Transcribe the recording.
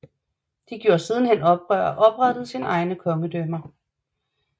De gjorde sidenhen oprør og oprettede sine egne kongedømmer